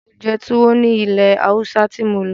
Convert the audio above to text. Mo jẹ́ tuwo ní ilẹ̀ Haúsá tí mo lọ.